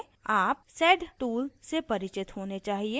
आप sed tool से परिचित होने चाहिए